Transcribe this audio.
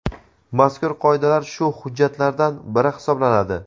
mazkur Qoidalar shu hujjatlardan biri hisoblanadi.